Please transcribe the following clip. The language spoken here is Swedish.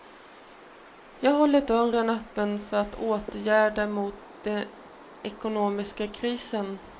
Jag håller dörren öppen för åtgärder mot den ekonomiska krisen.